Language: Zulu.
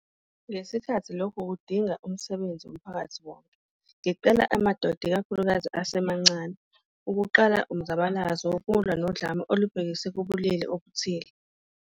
Ngesikhathi lokhu kudingaumsebenzi womphakathi wonke, ngicela amadoda ikakhulukazi asemancane ukuqala umzabalazo wokulwa nodlame olubhekiswe kubulili obuthile.